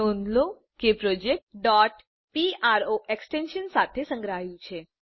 નોંધ લો કે પ્રોજેક્ટ pro એક્ષટેશન સાથે સંગ્રહાયું છે